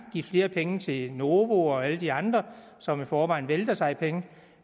give flere penge til novo og alle de andre som i forvejen vælter sig i penge